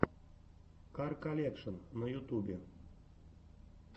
кар колекшн на ютубе